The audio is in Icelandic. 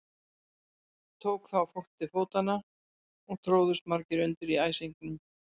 Tók þá fólk til fótanna og tróðust margir undir í æsingnum.